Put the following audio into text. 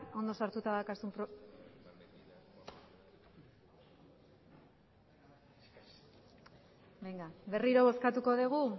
ondo sartuta daukazun berriro bozkatuko degu